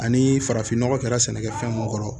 Ani farafinnɔgɔ kɛra sɛnɛkɛfɛn mun kɔrɔ